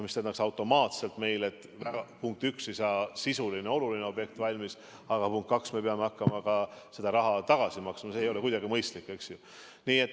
See tähendaks automaatselt, punkt üks, et sisuline, oluline objekt ei saa valmis, ja punkt kaks, me peame hakkama ka seda raha tagasi maksma ja see ei oleks kuidagi mõistlik.